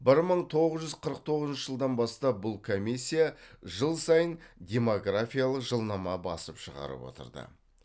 бір мың тоғыз жүз қырық тоғызыншы жылдан бастап бұл комиссия жыл сайын демографиялық жылнама басып шығарып отырды